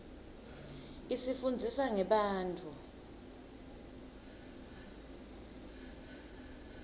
isifunndzisa ngebantfu